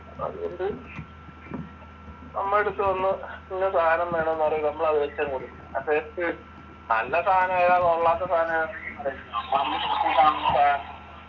അതുകൊണ്ട് നമ്മുടെ അടുത്തുവന്ന് ഇന്ന സാധനം വേണമെന്ന് പറയുമ്പോൾ നമ്മൾ അതങ് വെച്ചുകൊടുക്കും നല്ല സാധനമേതാ കൊള്ളാത്ത സാധനമേതാ